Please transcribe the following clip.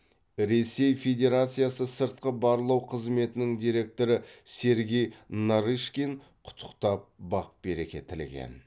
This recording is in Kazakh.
ресей федерациясы сыртқы барлау қызметінің директоры сергей нарышкин құттықтап бақ береке тілеген